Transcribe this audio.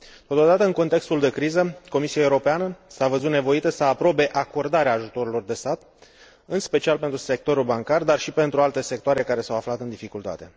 Totodată, în contextul de criză, Comisia Europeană s a văzut nevoită să aprobe acordarea ajutoarelor de stat, în special pentru sectorul bancar, dar și pentru alte sectoare care s au aflat în dificultate.